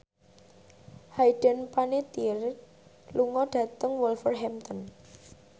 Hayden Panettiere lunga dhateng Wolverhampton